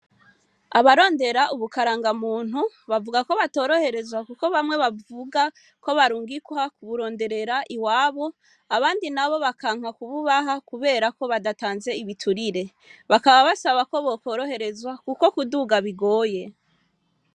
Abarondera ubukaranga muntu bavuga ko batoroherezwa, kuko bamwe bavuga ko barungikha kuburonderera iwabo abandi na bo bakanka kububaha, kubera ko badatanze ibiturire bakaba basaba ko bakoroherezwa, kuko kuduga bigoye.